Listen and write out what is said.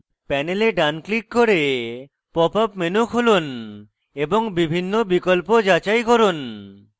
panel ডান click করে pop up menu খুলুন এবং বিভিন্ন বিকল্প যাচাই করুন